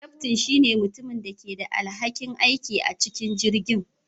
Kyaftin shine mutumin da ke da alhakin aiki da amincin jirgin.